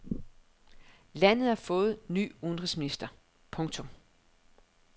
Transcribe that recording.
Landet har fået ny udenrigsminister. punktum